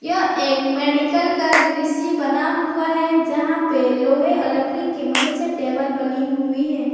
यह एक मेडिकल का दृश्य बना हुआ है जहां पे लोहे और लकड़ी की मदद से टेबल बनी हुई है।